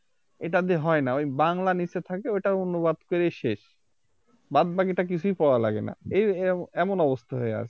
এটা দিয়ে হয়না ওই বাংলা নিচে থাকে ওটাও অনুবাদ করেই শেষ বাদবাকিটা কিছুই পড়া লাগেনা এই এম~ এমন অবস্থা হয়ে আছে